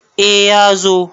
A ya zo